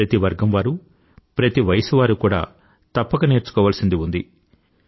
ప్రతి వర్గం వారూ ప్రతి వయసు వారూ తప్పక నేర్చుకోవాల్సినది ఉంది